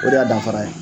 O de y'a danfara ye